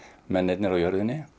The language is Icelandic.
mennirnir á jörðinni